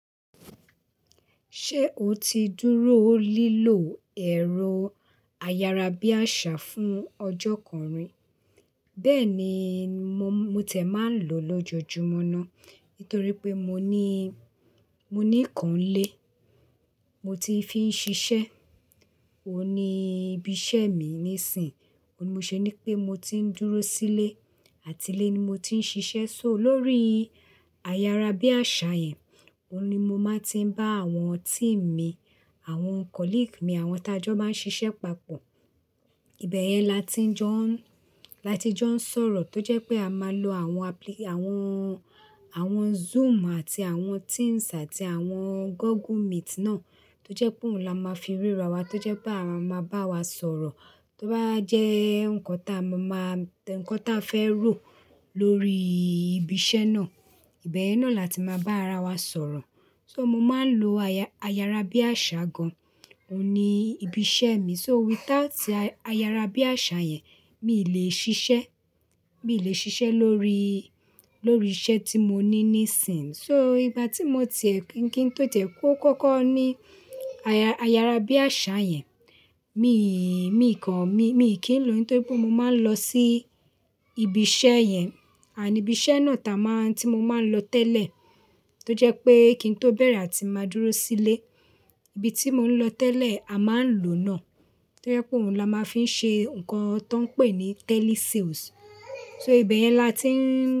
Ṣé o ti dúró lílo ẹ̀rọ ayárabíàṣá fún ọjọ́ kàn rí? Bẹ́ẹ̀ni, mo ti ẹ̀ máa ń lò lójoojúmọ́ ná. Nítorí pé mo ní, mo ní ìkan n lé, mo ti fi ń ṣiṣẹ́. Ó ní ibi iṣẹ́ mi níìsín, ó ní mó ṣe ní pé mo ti ń dúró sílé àti lé ni mo ti ń ṣiṣẹ́, so lórí ayárabíàṣá yẹn, ó un ní mo máa ti ń bá àwọn team mi, àwọn colleague mi, àwọn t'ajọ máa ń ṣiṣẹ́ papọ̀. Ìbẹ̀ yẹn la ti jọ ń, la ti jọ ń sọ̀rọ̀ tó jẹ́ pé a máa lo àwọn àwọn, àwọn Zoom àti àwọn Teams àti àwọn Google Meet náà tó jẹ́ pé òun la máa fi ríra wa tó jẹ́ pé àwa máa bá wa sọ̀rọ̀. Tó bá jẹ́ nǹkan táa a máa, nǹkan táa a fẹ́ rò lórí ibi iṣẹ́ náà, ìbẹ̀ yẹn náà la ti máa bá ara wa sọ̀rọ̀. So mo máa ń lo aya-ayárabíàṣá gan-an, ó ní ibi iṣẹ́ mi. So without ayárabíàṣá yẹn, mi ì lè ṣiṣẹ́, mi ì lè ṣiṣẹ́ lórí, lórí iṣẹ́ tí mo ní níìsín. So ìgbà tí mo ti ẹ́ kín, kí n tó tẹ̀ kó kọ́kọ́ ní aya-ayárabíàṣá yẹn, mi ì, mi ì kan, mi ì kí n lò ó nítorí pé mo máa ń lọ sí ibi iṣẹ́ yẹn. Ànd ibi iṣẹ́ náà táa a máa, tí mo máa ń lọ tẹ́lẹ̀ tó jẹ́ pé kí n tó bẹ̀rẹ̀ àti máa dúró sílé. Ibi tí mo ń lọ tẹ́lẹ̀ a máa ń lò náà, tó jẹ́ pé òun la máa ń fi ṣe nǹkan tó ń pè ní telesales. So ìbẹ̀ yẹn la ti ń.